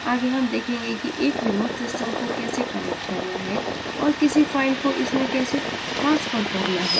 आगे हम देखेंगे कि एक remote system को कैसे connect करना है और किसी फ़ाइल को इसमें कैसे transfer करना है